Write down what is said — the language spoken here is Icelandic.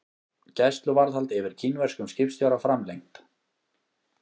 Gæsluvarðhald yfir kínverskum skipstjóra framlengt